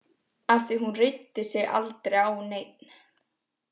Af því að hún reiddi sig aldrei á neinn.